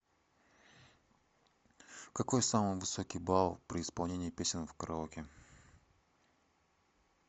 какой самый высокий балл при исполнении песен в караоке